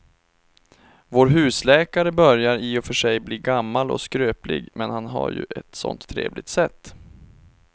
Vår husläkare börjar i och för sig bli gammal och skröplig, men han har ju ett sådant trevligt sätt!